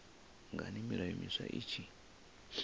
ngani milayo miswa i tshi